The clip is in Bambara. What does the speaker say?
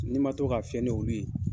N'i ma to ka fɛn n'olu ye